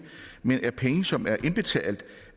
men er penge som er indbetalt